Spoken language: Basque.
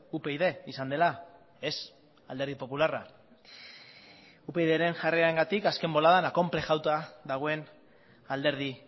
upyd izan dela ez alderdi popularra upydren jarrerarengatik azken boladan akonplejauta dagoen alderdi